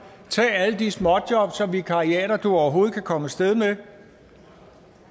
tag alle de småjobs og vikariater som du overhovedet kan komme af sted med